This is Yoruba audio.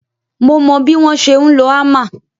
Mo mo bí wọ́n ṣe ń lo hammer